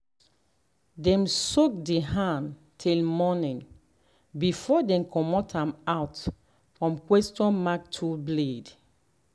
dem soak the hand till morning before dem come out am for question mark tool blade.